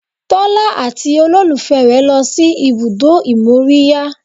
Tọ́lá àti olólùfẹ́ rẹ̀ lọ sí ibùdó ìmóríyá